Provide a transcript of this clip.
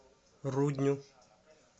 рудню